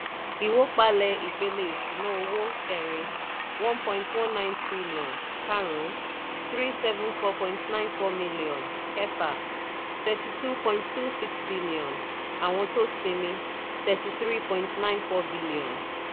ìwópalẹ̀ ìpele ìṣúná owó: kẹrin one point one nine trillion karùn-ún three seven four point nine four million kẹfà thirty two point two six billion àwọn tó sinmi thirty three point nine four billion.